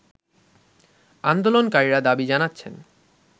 আন্দোলনকারীরা দাবি জানাচ্ছেন